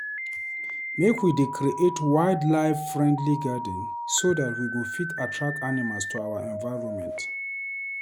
Make we dey create wildlife-friendly garden so dat we fit attract animals to our environment.